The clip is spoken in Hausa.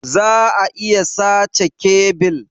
Za'a iya sace kebil.